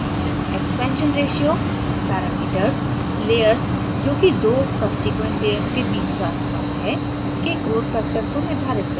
expansionratio parameters layers जो कि दो subsequent layers के बीच का अनुपात है के growth factor को निर्धारित करता है